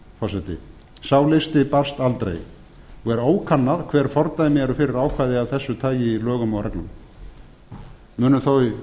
forseti sá listi barst aldrei og er ókannað hver fordæmi eru fyrir ákvæði af þessu tagi í lögum og reglum munu þó í